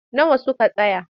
Nawa suka taya?